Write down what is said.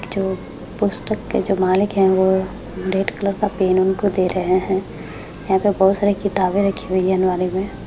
जो पुस्तक के जो मालिक है वो रेड कलर का पेन उनको दे रहे है यहाँ पे बहुत सारी किताबें रखी हुई है अलमारी में।